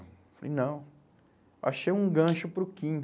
falei, não, achei um gancho para o Quim.